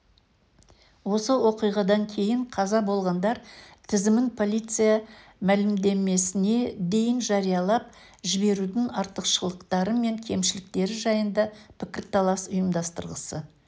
осы оқиғадан кейін қаза болғандар тізімін полиция мәлімдемесіне дейін жариялап жіберудің артықшылықтары мен кемшіліктері жайында пікірталас ұйымдастырғысы